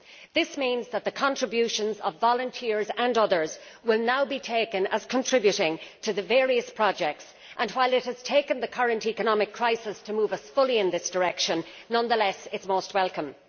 This means that the contributions of volunteers and others will now be taken as contributing to the various projects and, while it has taken the current economic crisis to move us fully in this direction, nonetheless, it is most welcome.